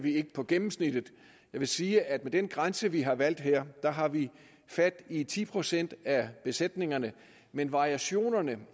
på gennemsnittet jeg vil sige at med den grænse vi har valgt her har vi fat i ti procent af besætningerne men variationerne